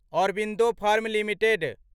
Aurobindo firm limited